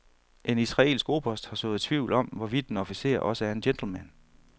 En israelsk oberst har sået tvivl om, hvorvidt en officer også er en gentleman.